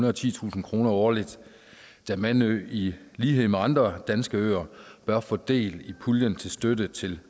og titusind kroner årligt da mandø i lighed med andre danske øer bør få del i puljen til støtte til